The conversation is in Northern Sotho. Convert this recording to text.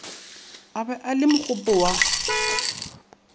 a be le mogopo wa